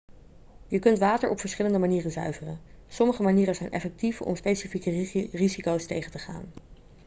je kunt water op verschillende manieren zuiveren sommige manieren zijn effectief om specifieke risico's tegen te gaan